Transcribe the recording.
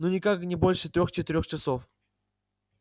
ну никак не больше трёх-четырёх часов